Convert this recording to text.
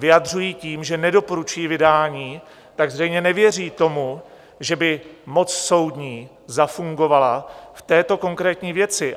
Vyjadřují tím, že nedoporučují vydání, že zřejmě nevěří tomu, že by moc soudní zafungovala v této konkrétní věci.